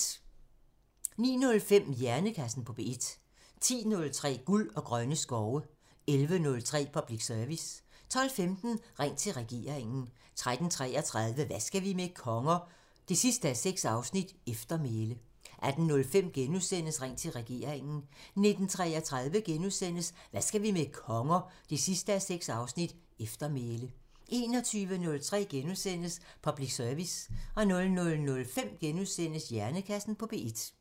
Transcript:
09:05: Hjernekassen på P1 10:03: Guld og grønne skove 11:03: Public Service 12:15: Ring til regeringen 13:33: Hvad skal vi med konger? 6:6 – Eftermæle 18:05: Ring til regeringen * 19:33: Hvad skal vi med konger? 6:6 – Eftermæle * 21:03: Public Service * 00:05: Hjernekassen på P1 *